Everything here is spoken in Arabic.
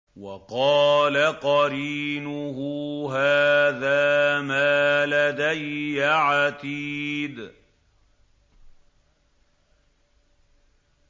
وَقَالَ قَرِينُهُ هَٰذَا مَا لَدَيَّ عَتِيدٌ